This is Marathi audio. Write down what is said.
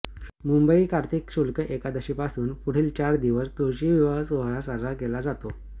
मुंबई कार्तिक शुक्ल एकादशीपासून पुढील चार दिवस तुळशी विवाह सोहळा साजरा केला जातो